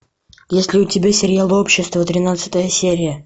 есть ли у тебя сериал общество тринадцатая серия